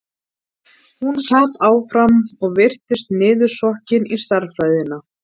Hún sat áfram og virtist niðursokkin í stærðfræðina.